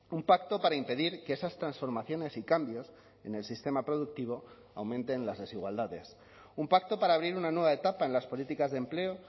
un pacto para impedir que esas transformaciones y cambios en el sistema productivo aumenten las desigualdades un pacto para abrir una nueva etapa en las políticas de empleo